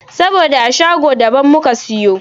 Saboda a shago da ban muka siyo shi.